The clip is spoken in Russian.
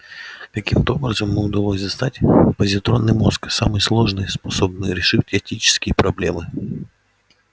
каким-то образом ему удалось достать позитронный мозг самый сложный способный решать этические проблемы